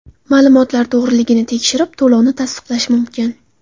Ma’lumotlar to‘g‘riligini tekshirib, to‘lovni tasdiqlash mumkin.